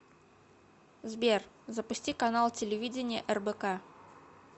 сбер запусти канал телевидения рбк